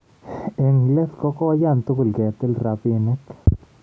Eng let ko koiyan tugul ketil rabinik